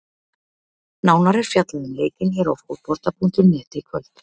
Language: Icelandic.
Nánar er fjallað um leikinn hér á Fótbolta.net í kvöld.